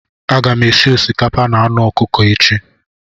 Aga m esi osikapa na anụ ọkụkọ echi.